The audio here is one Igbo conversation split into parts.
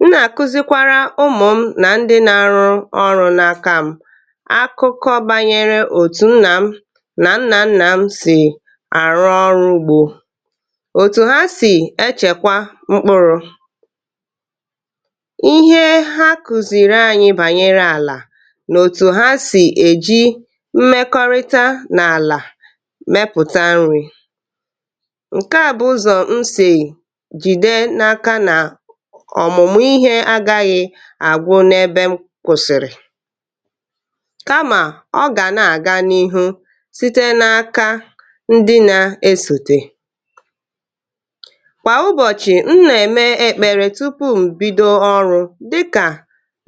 M na-akuzikwara ụmụ m na ndị na-arụ ọrụ n'aka m. Akụkọ banyere otu nna m na nna nna m si arụ ọrụ ugbo, otu ha si echekwa mkpụrụ, ihe ha kụziiri anyị banyere ala na otu ha si eji mmekọrịta na ala mepụta nri. Nke a bụ ụzọ m si jide n'aka na ọmụmụ ihe agaghị agwụ n'ebe m kwụsịrị. Kama ọ ga na-aga n'ihu site n'aka ndị na esote. Kwa ụbọchị, m na-ekpe ekpere tupu m bido ọrụ dịka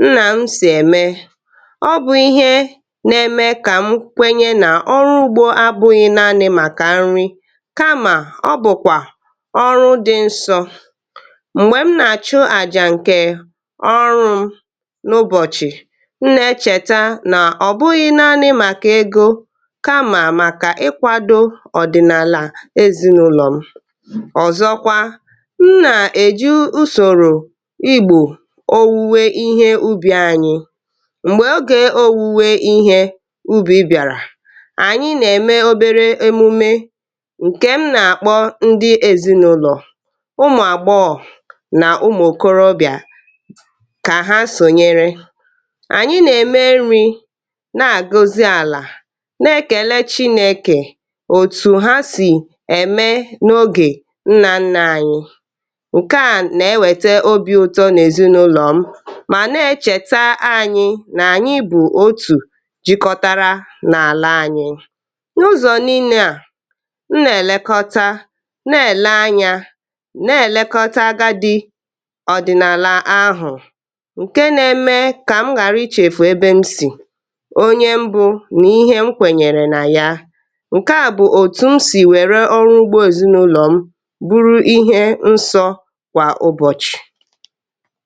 nna m si eme. Ọ bụ ihe nna-eme ka m kwenye na ọrụ ugbo abụghị naanị maka nri kama ọ bụkwa ọrụ dị nsọ. Mgbe m na-achụ aja nke ọrụ m n'ụbọchị, m na-echeta na ọ bụghị naanị maka ego kama maka ịkwado ọdịnala ezinụlọ m. Ọzọkwa, m na eji usoro igbu owuwe ihe ubi anyị. Mgbe oge owuwe ihe ubi bịara, anyị na-eme obere emume nke m na-akpọ ndị ezinụlọ, ụmụ agbọghọ na ụmụ okorobịa ka ha sonyere. Anyị na-eme nri na agọzi ala na-ekele Chineke otu ha si eme n'oge nna nna anyị. Nke a na-ewete obi ụtọ n'ezinụlọ ma na-echetere anyị na anyị bụ ótù jikọtara n'ala anyị. N'ụzọ niile a, m na-elekọta na-ele anya na-elekọta agadi ọdịnala ahụ nke na-eme ka m ghara ichefu ebe m si, onye m bụ na ihe m kwenyere na ya. Nke a bụ etu m si were ọrụ ugbo ezinụlọ m bụrụ ihe nsọ kwa ụbọchị.